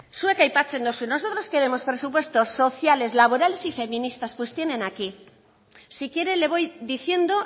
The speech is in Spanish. zuek aipatzen duzue nosotros queremos presupuestos sociales laborales y feministas pues tienen aquí si quiere le voy diciendo